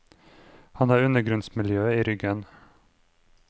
Han har undergrunnsmiljøet i ryggen.